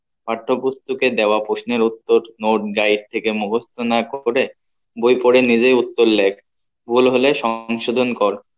পাঠ্য পুস্তকের দেওয়া প্রশ্নের উত্তর note guide থেকে মুখস্ত না করে বই পরে নিজেই উত্তর লেখ ভুল হলে সংশোধন কর